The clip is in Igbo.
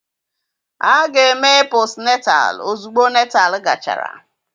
A ga-eme posnetal ozugbo Netal gachara